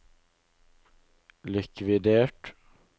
likvidert